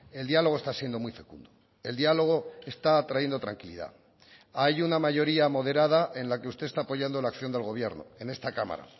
el diálogo está siendo muy fecundo el diálogo está trayendo tranquilidad hay una mayoría moderada en la que usted está apoyando la acción del gobierno en esta cámara